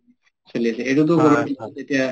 চলি আছে এইটো